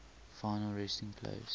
final resting place